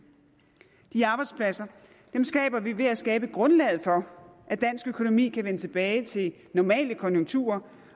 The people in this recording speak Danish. de arbejdspladser skaber vi ved at skabe grundlaget for at dansk økonomi kan vende tilbage til normale konjunkturer